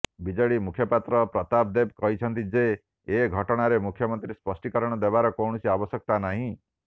BJD ମୁଖପାତ୍ର ପ୍ରତାପ ଦେବ କହିଛନ୍ତି ଯେ ଏ ଘଟଣାରେ ମୁଖ୍ୟମନ୍ତ୍ରୀ ସ୍ପଷ୍ଟୀକରଣ ଦେବାର କୌଣସି ଆବଶ୍ୟକତା ନାହିଁ